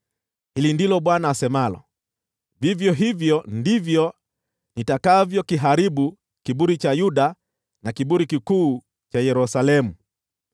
“Hili ndilo Bwana asemalo: ‘Vivyo hivyo ndivyo nitakavyokiharibu kiburi cha Yuda na kiburi kikuu cha Yerusalemu.